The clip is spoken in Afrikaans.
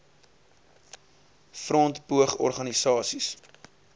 front poog organisasies